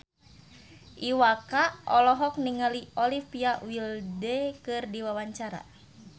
Iwa K olohok ningali Olivia Wilde keur diwawancara